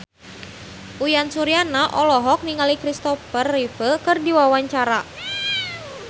Uyan Suryana olohok ningali Christopher Reeve keur diwawancara